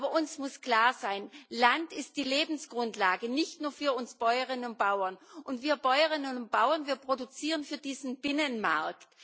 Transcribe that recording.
Aber uns muss klar sein, Land ist die Lebensgrundlage nicht nur für uns Bäuerinnen und Bauern, und wir Bäuerinnen und Bauern produzieren für diesen Binnenmarkt.